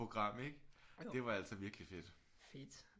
Program ikke det var altså virkelig fedt